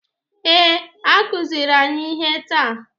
Ee, a kuziri anyị ihe taa.